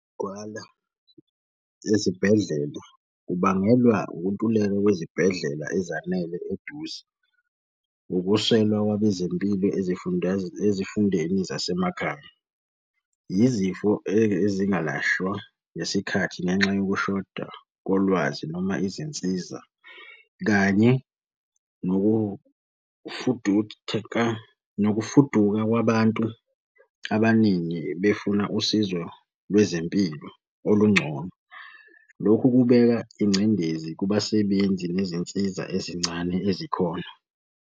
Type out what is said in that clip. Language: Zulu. Gcwala ezibhedlela, kubangelwa ukuntuleka kwezibhedlela ezanele eduze. Ukuswelwa kwabezempilo ezifundeni zasemakhaya. Yizifo ezingalashwa ngesikhathi ngenxa yokushoda kolwazi noma izinsiza, kanye nokufuduka kwabantu abaningi befuna usizo lwezempilo olungcono. Lokhu kubeka ingcindezi kubasebenzi nezinsiza ezincane ezikhona.